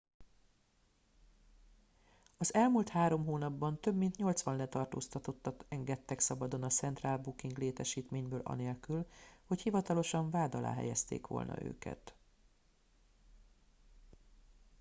az elmúlt 3 hónapban több mint 80 letartóztatottat engedtek szabadon a central booking létesítményből anélkül hogy hivatalosan vád alá helyezték volna őket